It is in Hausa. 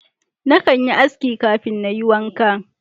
Na kan yi aski kafin Na yi wanka.